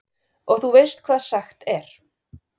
Og þú veist hvað sagt er?